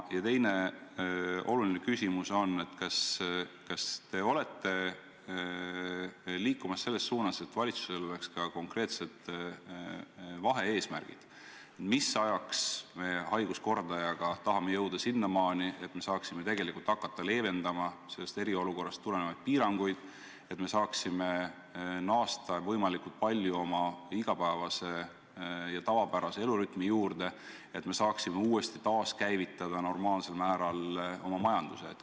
Ja teine oluline küsimus on ka: kas te olete liikumas selles suunas, et valitsusel oleks konkreetsed vahe-eesmärgid, mis ajaks me haiguskordajaga tahame jõuda sinnamaani, et me saaksime tegelikult hakata leevendama eriolukorrast tulenevaid piiranguid, et me saaksime naasta võimalikult palju oma igapäevase, tavapärase elurütmi juurde, et me saaksime uuesti käivitada normaalsel määral oma majanduse?